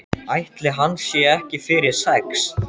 Ætli hann sé ekki fyrir sex?